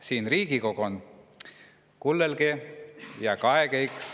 Kaege siis õks näid ja kullõlgõ.